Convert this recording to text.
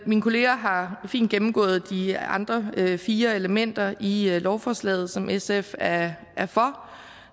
mine kolleger her fint gennemgået de andre fire elementer i lovforslaget som sf er for